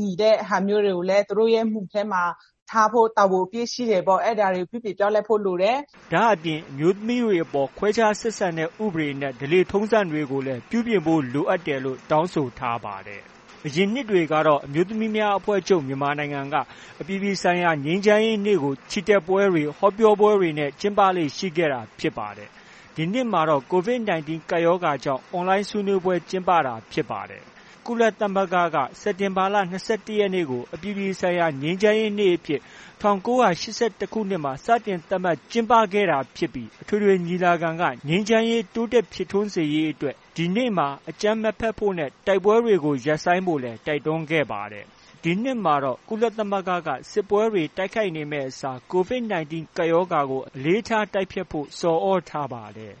ညီတဲ့ဟာမျိုးတွေကိုလည်း သူတို့ရဲ့ မူထဲမှာ ထားဖို့ တာဝန်အပြည့်ရှိတယ်ပေါ့။ အဲဒါတွေကို သူတို့ ပြုပြင်ပြောင်းလဲဖို့ လိုတယ်။” ဒါအပြင် အမျိုးသမီးတွေအပေါ် ခွဲခြားဆက်ဆံတဲ့ ဥပဒေနဲ့ ဓလေ့ထုံးစံတွေကိုလည်း ပြုပြင်ဖို့ လိုအပ်တယ်လို့ တောင်းဆိုထားပါတယ်။ အရင်နှစ်တွေကတော့ အမျိုးသမီးများအဖွဲ့ချုပ် မြန်မာနိုင်ငံက အပြည်ပြည်ဆိုင်ရာ ငြိမ်းချမ်းရေးနေ့ကို ချီတက်ပွဲတွေ၊ ဟောပြောပွဲတွေကို ကျင်းပလေ့ ရှိခဲ့တာဖြစ်ပါတယ်။ ဒီနှစ်မှာတော့ COVID 19 ကပ်ရောဂါကြောင့် အွန်လိုင်း ဆွေးနွေးပွဲ ကျင်းပခဲ့တာဖြစ်ပါတယ်။ ကုလသမဂ္ဂက စက်တင်ဘာလ ၂၁ ရက်နေ့ကို အပြည်ပြည်ဆိုင်ရာ ငြိမ်းချမ်းရေးနေ့အဖြစ် ၁၉၈၁ခုနှစ်မှာ စတင်သတ်မှတ် ကျင်းပခဲ့တာဖြစ်ပြီး အထွေထွေညီလာခံက ငြိမ်းချမ်းရေးတိုးတက်ဖြစ်ထွန်းစေရေးအတွက် ဒီနေ့မှာ အကြမ်းမဖက်ဖို့နဲ့ တိုက်ပွဲတွေကို ရပ်ဆိုင်းဖို့လည်း တိုက်တွန်းခဲ့ပါတယ်။ ဒီနှစ်မှာတော့ ကုလသမဂ္ဂက စစ်ပွဲတွေမှာ တိုက်ခိုက်မယ့် အစား COVID 19 ကပ်ရောဂါကို အလေးထား တိုက်ဖျက်ဖို့ ဆော်သြထားပါတယ်